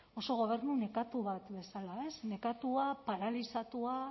oso gobernu nekatu bat bezala nekatua paralizatua